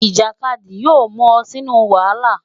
Ijakadi yoo mu ọ sinu wahala.